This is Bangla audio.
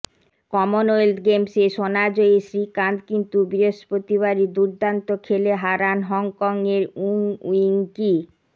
কমনওয়েলথ গেমসে সোনাজয়ী শ্রীকান্ত কিন্তু বৃহস্পতিবারই দুর্দান্ত খেলে হারান হংকংয়ের উং উইং কি